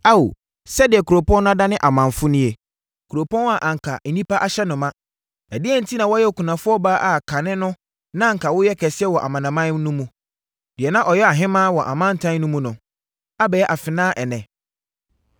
Ao, sɛdeɛ kuropɔn no adane amamfo nie, kuropɔn a anka nnipa ahyɛ no ma? Ɛdeɛn enti na wayɛ okunafoɔ baa a kane no na anka woyɛ kɛseɛ wɔ amanaman no mu? Deɛ na ɔyɛ ɔhemmaa wɔ amantam no mu no abɛyɛ afenaa ɛnnɛ.